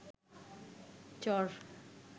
চর